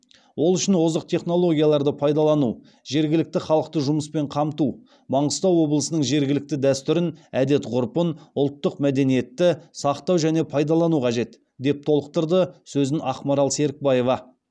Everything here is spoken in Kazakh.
ол үшін озық технологияларды пайдалану жергілікті халықты жұмыспен қамту маңғыстау облысының жергілікті дәстүрін әдет ғұрпын ұлттық мәдениетті сақтау және пайдалану қажет деп толықтырды сөзін ақмарал серікбаева